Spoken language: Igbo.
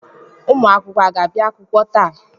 Ụmụ akwụkwọ aga abịa akwụkwọ taa?